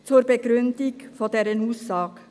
Ich begründe meine Aussage: